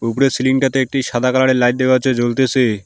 উপরের সিলিংটাতে একটি সাদা কালারের লাইট দেখা যাচ্ছে জ্বলতেসে।